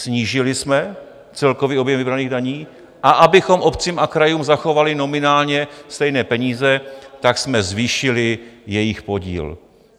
Snížili jsme celkový objem vybraných daní, a abychom obcím a krajům zachovali nominálně stejné peníze, tak jsem zvýšili jejich podíl.